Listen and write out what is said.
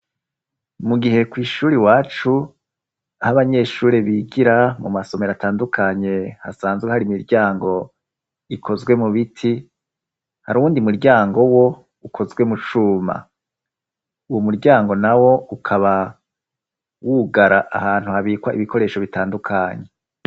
Mu gihe ku ishuri wacu aho abanyeshuri bigira mu masomero atandukanye hasanzwe hari imiryango ikozwe mu biti, hari uwundi muryango wo ukozwe mu cuma, uwo muryango nawo ukaba wugara ahantu habikwa ibikoresho bitandukanye.